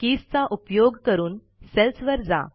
keys चा उपयोग करून सेल्सवर जा